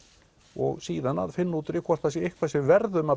og síðan að finna út úr því hvort það sé eitthvað sem við verðum að